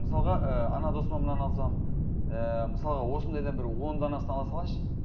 мысалға ы ана досыма мынаны алсам ііі мысалға осындайдан бір он данасын ала салайыншы